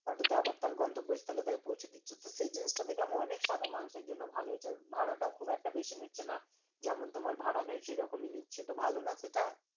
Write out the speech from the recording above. অটোটা আবার তার গন্তব্যস্থলে তাকে পৌঁছে দিচ্ছে। সে জিনিসটা দেখলাম অনেক সাধারণ মানুষের জন্য ভালো হয়েছে। ভাড়াটাও খুব একটা বেশি নিচ্ছে না। যেমন তোমার ভাড়া নেয় সেরকমই নিচ্ছে, তো ভালো না সেটা?